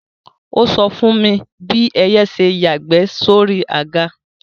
Ó sọ fún mi bí ẹyẹ ṣe yàgbẹ́ sóri àga